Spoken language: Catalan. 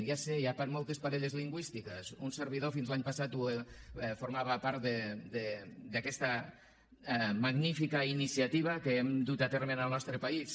ja ho sé hi ha moltes parelles lingüístiques un servidor fins a l’any passat formava part d’aquesta magnífica iniciativa que hem dut a terme en el nostre país